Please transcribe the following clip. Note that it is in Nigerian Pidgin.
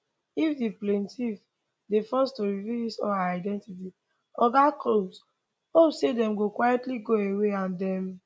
if di plaintiff dey forced to reveal his or her identity oga combs hope say dem go quietly go away and dem